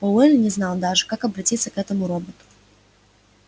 пауэлл не знал даже как обратиться к этому роботу